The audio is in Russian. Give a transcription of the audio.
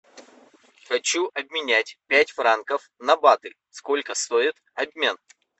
хочу обменять пять франков на баты сколько стоит обмен